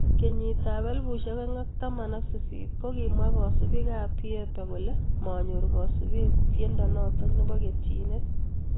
Kenyit ap elpusiek oeng ak taman ak sisit ko kimwaa kasupik ap pieper kolee manyor kasupeet tiendo notok nepo ketyinet